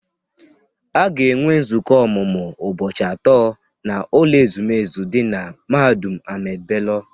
A ga-enwe nzukọ ọmụmụ ụbọchị atọ n'ụlọ ezumezu dị na mahadum Ahmadu Bello.